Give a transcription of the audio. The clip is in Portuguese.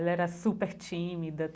Ela era super tímida.